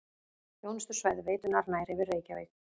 Þjónustusvæði veitunnar nær yfir Reykjavík